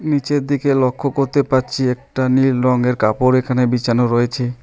নীচের দিকে লক্ষ করতে পারছি একটা নীল রংয়ের কাপড় এখানে বিছানো রয়েছে।